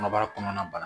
Kɔnɔbara kɔnɔna bana